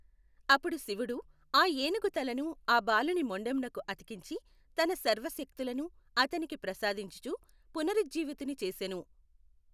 అపుడు శివుడు ఆ ఏనుగు తలను ఆ బాలుని మొండెమునకు అతికించి తన సర్వ శక్తులను అతనికి ప్రసాదించుచు పునరుజ్జీవితుని చేసెను.